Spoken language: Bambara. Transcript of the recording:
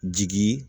Jigi